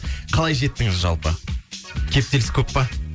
қалай жеттіңіз жалпы кептеліс көп па